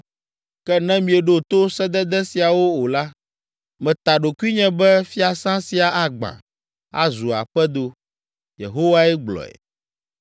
Ke ne mieɖo to sedede siawo o la, meta ɖokuinye be fiasã sia agbã, azu aƒedo.’ ” Yehowae gblɔe.